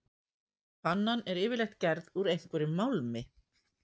Pannan er yfirleitt gerð úr einhverjum málmi.